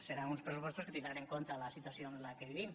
seran uns pressupostos que tindran en compte la situació en què vivim